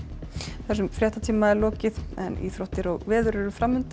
þessum fréttatíma er lokið en íþróttir og veður eru